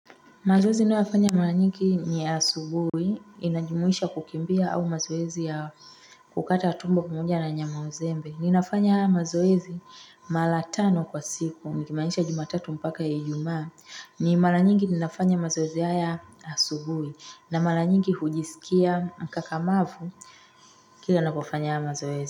Mazoezi ninayofanya maranyingi ni asubui, inajumuisha kukimbia au mazoezi ya kukata tumbo pamoja na nyama uzembe. Ninafanya mazoezi mara tano kwa siku, nikimanisha jumatatu mpaka ya ijuma. Ni maranyingi ninafanya mazoezi haya asubui na mara nyingi hujisikia mkakamavu kila napofanya mazoezi.